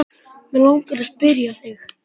Mig langar að spyrja þig.